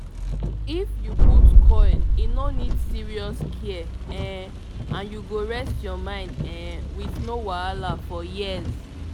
if u put coil e no need serious care um and you go rest ur mind um with no wahala for years